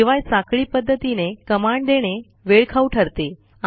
शिवाय साखळी पध्दतीने कमांड देणे वेळखाऊ ठरते